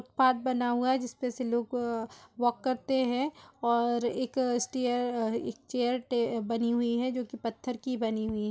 Path बना हुआ है जिसपे से लोग वॉक करते हैं और एक स्टेयर एक चेयर बनी हुई है जो की पत्थर की बनी हुई है।